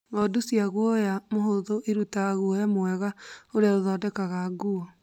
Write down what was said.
Ngondu cia guoya mũhũthũ irutaga guoya mwega ũrĩa ũthondekaga nguo